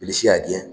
Bilisi y'a gɛn